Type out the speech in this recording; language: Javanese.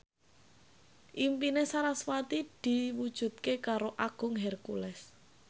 impine sarasvati diwujudke karo Agung Hercules